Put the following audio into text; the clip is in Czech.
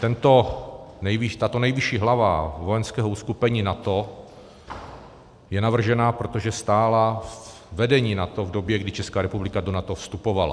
Tato nejvyšší hlava vojenského uskupení NATO je navržena, protože stála ve vedení NATO v době, kdy Česká republika do NATO vstupovala.